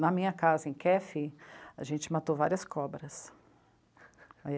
Na minha casa, em Kefi, a gente matou várias cobras.